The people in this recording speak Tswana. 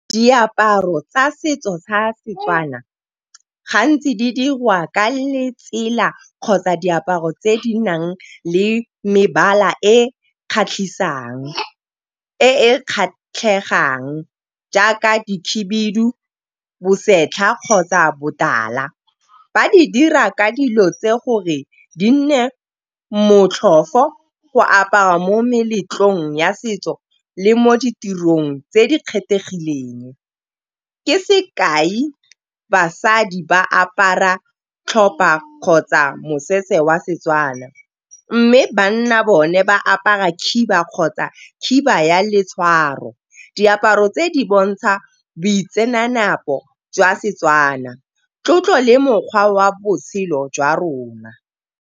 Diaparo tsa setso sa setswana gantsi di dirwa ka letsela kgotsa diaparo tse di nang le mebala e kgatlhisang. Jaaka di khebidu, bosetlha kgotsa botala. Ba di dira ka dilo tse gore di nne motlhofo go apara mo meletlong ya setso le mo ditirong tse di kgethegileng. Ke sekai basadi ba apara tlhopha kgotsa mosese wa setswana. Mme banna bone ba apara khiba, kgotsa khiba ya letshwaro diaparo tse di bontsha boitsenape jwa setswana, tlotlo le mokgwa wa botshelo jwa rona.